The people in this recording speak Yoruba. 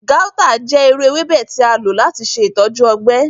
Gauta jẹ iru ewebe ti a lo lati ṣe itọju ọgbẹ.